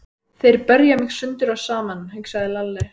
Þeir berja mig sundur og saman, hugsaði Lalli.